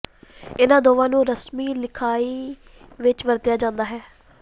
ਇਨ੍ਹਾਂ ਦੋਵਾਂ ਨੂੰ ਰਸਮੀ ਲਿਖਾਈ ਵਿੱਚ ਵਰਤਿਆ ਜਾਂਦਾ ਹੈ